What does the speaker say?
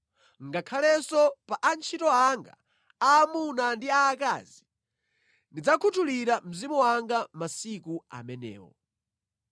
Ngakhalenso pa antchito anga aamuna ndi aakazi ndidzakhuthulira Mzimu wanga masiku amenewo.